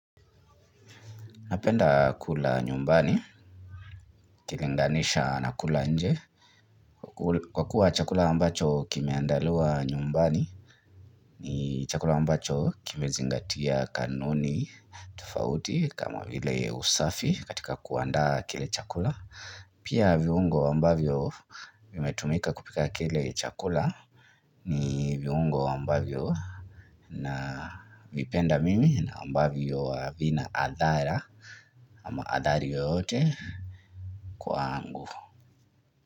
Napenda kula nyumbani ukilinganisha na kula nje kwa kuwa chakula ambacho kimeandaliwa nyumbani ni chakula ambacho kimezingatia kanuni tofauti kama vile usafi katika kuanda kile chakula Pia viungo ambavyo vimetumika kupika kile chakula ni viungo ambavyo na Uvipenda mimi na ambavyo havina athara ama athari yeyote kwangu.